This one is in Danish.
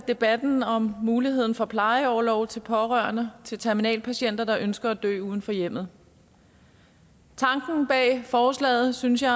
debatten om muligheden for plejeorlov til pårørende til terminalpatienter der ønsker at dø uden for hjemmet tanken bag forslaget synes jeg